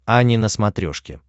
ани на смотрешке